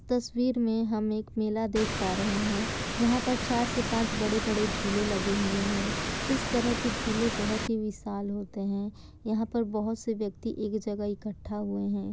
तस्वीर में हम एक मेला देख पा रहे हैं। यहाँ पर चार से पाँच बड़े-बड़े झूले लगे हुए हैं। इस तरह के झूले बहुत ही विशाल होते हैं। यहाँ पर बहोत से व्यक्ति एक जगह इकट्ठा हुए हैं।